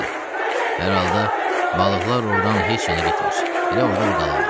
Hər halda balıqlar ordan heç yana getmir, elə orda da qalırlar.